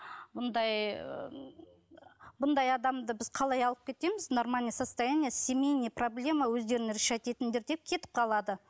бұндай бұндай адамды біз қалай алып кетеміз нормальное состояние семейная проблема өздерің решать етіңдер деп кетіп қалады